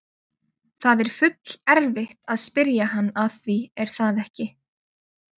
Það er full erfitt að spyrja hann að því er það ekki?